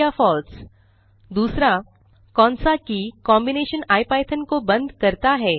true या false दूसरा कौन सा की कॉम्बिनेशन इपिथॉन को बंद करता है